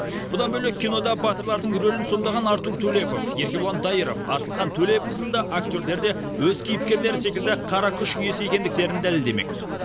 бұдан бөлек кинода батырлардың рөлін сомдаған артур төлепов еркебұлан дайыров асылхан төлепов сынды актерлер де өз кейіпкерлері секілді қара күш иесі екендіктерін дәлелдемек